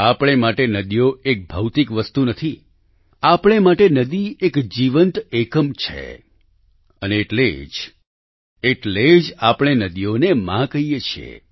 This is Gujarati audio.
આપણે માટે નદીઓ એક ભૌતિક વસ્તુ નથી આપણે માટે નદી એક જીવંત એકમ છે અને એટલે જ એટલે જ આપણે નદીઓને માં કહીએ છીએ